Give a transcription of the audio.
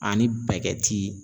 Ani